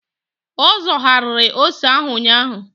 Ọ zọgharịrị ose ahụ ụnyaahụ.